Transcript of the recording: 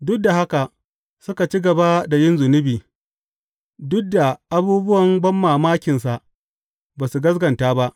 Duk da haka, suka ci gaba da yin zunubi; duk da abubuwan banmamakinsa, ba su gaskata ba.